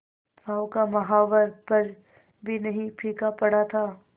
पांव का महावर पर भी नहीं फीका पड़ा था